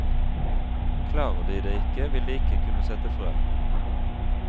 Klarer de det ikke, vil de ikke kunne sette frø.